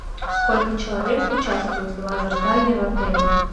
сколько человек участвует в лазертаге в отеле